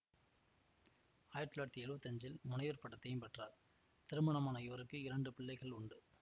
ஆயிரத்தி தொள்ளாயிரத்தி எழுவத்தி அஞ்சில் முனைவர் பட்டத்தையும் பெற்றார் திருமணமான இவருக்கு இரண்டு பிள்ளைகள் உண்டு